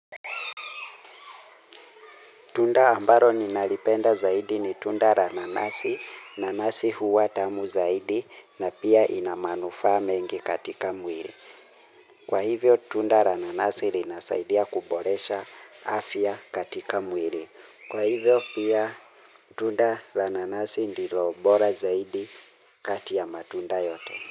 Tunda ambalo ninalipenda zaidi ni tunda la nanasi, nanasi huwa tamu zaidi na pia inamanufaa mengi katika mwili. Kwa hivyo tunda la nanasi linasaidia kuboresha afya katika mwili. Kwa hivyo pia tunda la nanasi ndilo bora zaidi kati ya matunda yote.